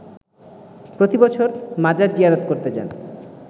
প্রতিবছর মাজার জিয়ারত করতে যান